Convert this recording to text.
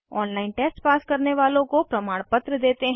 online test pass करने वालों को प्रमाणपत्र देते हैं